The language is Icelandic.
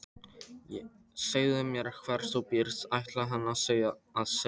Segðu mér hvar þú býrð, ætlaði hann að segja.